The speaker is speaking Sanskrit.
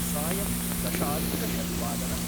सायम् दशाधिकषड्वादनम्